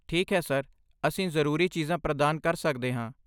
ਠੀਕ ਹੈ, ਸਰ। ਅਸੀਂ ਜ਼ਰੂਰੀ ਚੀਜ਼ਾਂ ਪ੍ਰਦਾਨ ਕਰ ਸਕਦੇ ਹਾਂ।